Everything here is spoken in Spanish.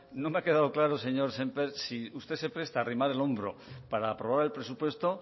no me ha quedado claro señor sémper si usted se presta a arrimar el hombro para aprobar el presupuesto